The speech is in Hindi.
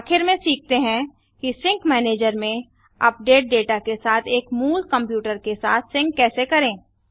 आखिर में सीखते हैं कि सिंक मैनेजर में अपडेटेड डेटा के साथ एक मूल कंप्यूटर के साथ सिंक कैसे करें